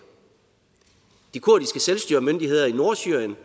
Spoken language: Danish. de kurdiske selvstyremyndigheder i nordsyrien